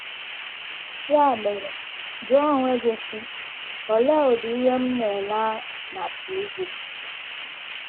Ya mere, jụọ onwe gị, sị, ‘ Olee ụdị ihe m na - ele na TV? ’